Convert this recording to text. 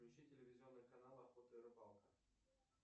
включи телевизионный канал охота и рыбалка